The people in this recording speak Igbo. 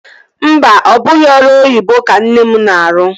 Mba, ọ bụghị ọrụ oyibo ka nne m na-arụ